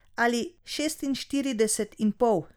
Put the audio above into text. Ali šestinštirideset in pol.